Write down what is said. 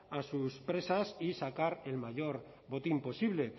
a sus presas y sacar el mayor botín posible